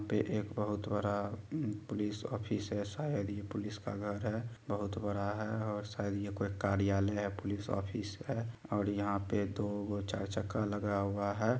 यहा पे एक बहोत बड़ा उम पुलिस ऑफिस है शायद ये पुलिस का घर है बहोत बड़ा है और शायद ये कोई कार्यालय या पुलिस ऑफिस है और यहाँ पे दोगो चार चक्का लगा हुआ है।